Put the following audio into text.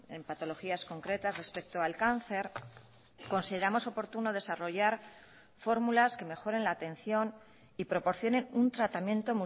en patologías concretas respecto al cáncer consideramos oportuno desarrollar fórmulas que mejoren la atención y proporcionen un tratamiento